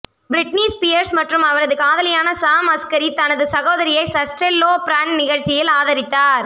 Britney Spears மற்றும் அவரது காதலியான சாம் அஸ்கரி தனது சகோதரியை சர்ஸ்டெல்லோ பிராண்ட் நிகழ்ச்சியில் ஆதரித்தார்